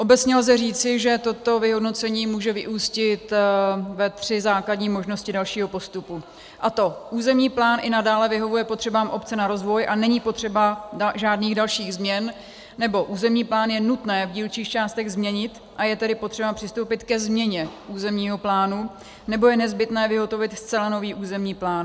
Obecně lze říci, že toto vyhodnocení může vyústit ve tři základní možnosti dalšího postupu, a to: územní plán i nadále vyhovuje potřebám obce na rozvoj a není potřeba žádných dalších změn, nebo územní plán je nutné v dílčích částech změnit, a je tedy potřeba přistoupit ke změně územního plánu, nebo je nezbytné vyhotovit zcela nový územní plán.